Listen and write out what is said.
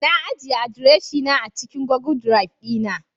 Na ajiye adireshina a cikin Google Drive dina